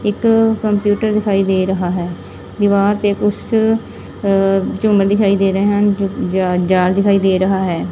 ਇੱਕ ਕੰਪਿਊਟਰ ਦਿਖਾਈ ਦੇ ਰਿਹਾ ਹੈ ਦੀਵਾਰ ਤੇ ਕੁੱਛ ਅ ਝੂੰਮਰ ਦਿਖਾਈ ਦੇ ਰਹੇ ਹਨ ਜ-ਜ ਜਾਲ ਦਿਖਾਈ ਦੇ ਰਹਾ ਹੈ।